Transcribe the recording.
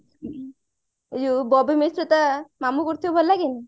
ଏଇ ଯାଉ ବବି ମିଶ୍ର ତା ମାମୁ କରୁଥିବ ଭଲ ଲାଗେନି